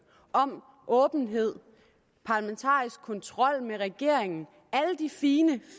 om åbenhed og parlamentarisk kontrol med regeringen alle de fine